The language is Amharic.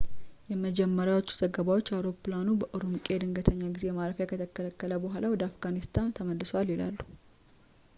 የመጀመሪያዎቹ ዘገባዎች አውሮፕላኑ በኡሩምቂ የድንገተኛ ጊዜ ማረፍ ከተከለከለ በኋላ ወደ አፍጋኒስታን ተመልሷል ይላሉ